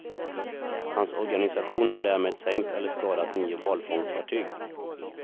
Hans organisation har därmed sänkt eller skadat nio valfångstfartyg.